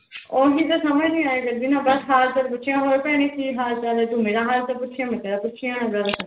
ਹੋਰ ਕਿਸੇ ਦੇ ਸਮਝ ਨੀ ਆਇਆ ਕਰਦੀ ਨਾ ਬਸ ਹਾਲ ਚਾਲ ਪੁੱਛਿਆ ਹੋਰ ਭੈਣੇ ਕੀ ਹਾਲ ਚਾਲ ਹੈ ਤੂੰ ਮੇਰਾ ਹਾਲ ਚਾਲ ਪੁੱਛਿਆ ਮੈਂ ਤੇਰਾ ਪੁੱਛਿਆ ਬਸ